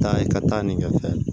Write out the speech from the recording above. Taa ka taa nin kɛ fɛn